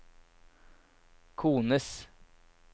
kones